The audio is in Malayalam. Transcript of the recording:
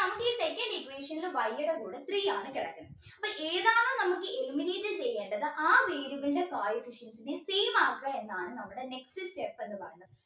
ഈ second equation ൽ Y യുടെ കൂടെ three ആണ് കെടക്കുന്നെ അപ്പൊ ഏതാണോ നമുക്ക് eliminate ചെയ്യേണ്ടത് ആ variable ന്റെ coefficient നെ same ആക്ക എന്നാണ് നമ്മുടെ next step എന്ന് പറയുന്നത്